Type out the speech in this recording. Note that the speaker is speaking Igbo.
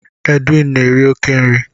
Edwin na-eri oke nri